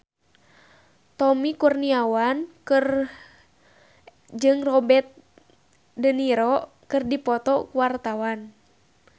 Tommy Kurniawan jeung Robert de Niro keur dipoto ku wartawan